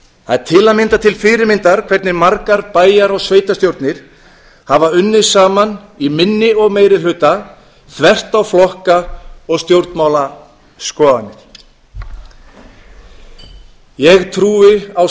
það er til að mynda til fyrirmyndar hvernig margar bæjar og sveitarstjórnir hafa unnið saman í minni og meiri hluta þvert á flokka og stjórnmálaskoðanir ég trúi á